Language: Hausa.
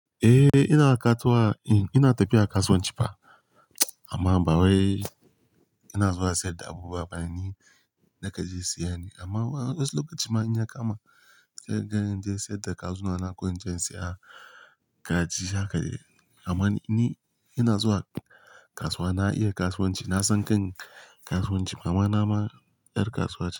Eh, ina tafiya kasuwanci fa. Amma ba wai ina zuwa sayar da abu ba, ni nakan je siya ne. Amma wayansu lokaci in ya kama, se inje in siyar da kazuna na ko in saye kaji amma ni ina zuwa kasuwa, na iya kasuwanci, na san kan kasuwanci. Mamana ma 'yar kasuwa ce.